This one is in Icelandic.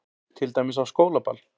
Til dæmis á skólaball.